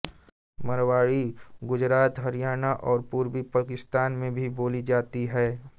मारवाड़ी गुजरात हरियाणा और पूर्वी पाकिस्तान में भी बोली जाती है